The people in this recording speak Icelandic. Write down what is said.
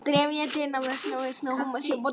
Þessi hefð var mjög dýrmæt.